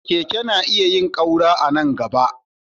Keke na iya yin ƙaura a nan gaba.